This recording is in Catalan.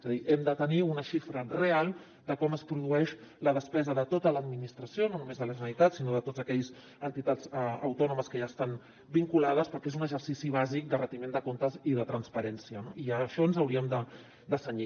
és a dir hem de tenir una xifra real de com es produeix la despesa de tota l’administració no només de la generalitat sinó de totes aquelles entitats autònomes que hi estan vinculades perquè és un exercici bàsic de retiment de comptes i de transparència i a això ens hauríem de cenyir